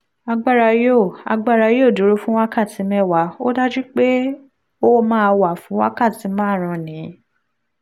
agbára yóò agbára yóò dúró fún wákàtí mẹ́wàá ó dájú pé ó máa wà fún wákàtí márùn-ún ní